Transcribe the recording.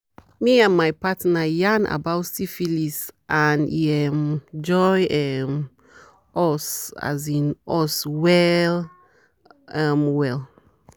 me and my partner yarn about syphilis and e um join um us as in us well um well